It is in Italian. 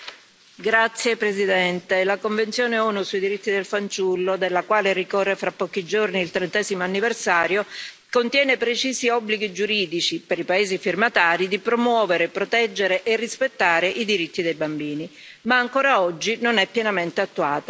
Signora Presidente, onorevoli colleghi, la Convenzione ONU sui diritti del fanciullo, della quale ricorre fra pochi giorni il trentesimo anniversario, contiene precisi obblighi giuridici, per i paesi firmatari, di promuovere, proteggere e rispettare i diritti dei bambini, ma ancora oggi non è pienamente attuata.